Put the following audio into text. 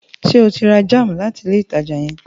Ṣe o rà jam láti ilé ìtàjà yen?